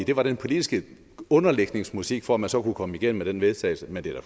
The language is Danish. det var den politiske underlægningsmusik for at man så kunne komme igennem med den vedtagelse men det er da